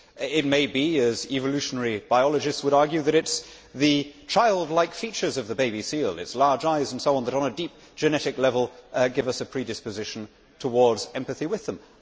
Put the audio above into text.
It may be, as evolutionary biologists would argue, that it is the childlike features of the baby seal its large eyes and so on that on a deep genetic level give us a predisposition towards empathy with them.